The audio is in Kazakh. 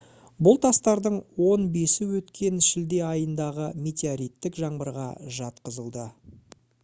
бұл тастардың он бесі өткен шілде айындағы метеориттік жаңбырға жатқызылады